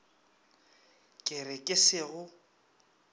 ke re ke se go